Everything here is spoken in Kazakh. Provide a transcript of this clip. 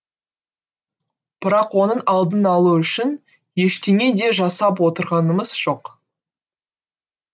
бірақ оның алдын алу үшін ештеңе де жасап отырғанымыз жоқ